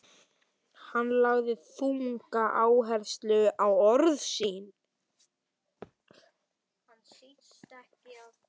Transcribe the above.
Hann lagði þunga áherslu á orð sín.